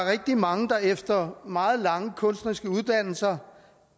rigtig mange der efter meget lange kunstneriske uddannelser